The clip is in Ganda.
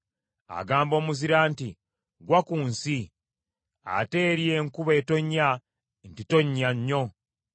Agamba omuzira nti, ‘Ggwa ku nsi,’ ate eri enkuba etonnya nti, ‘Ttonnya nnyo.’